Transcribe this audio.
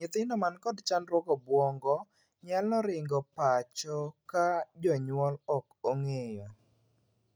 Nyithindo man kod chandruog obuongo nyalo ringo pacho ka jonyuol ok ong'eyo.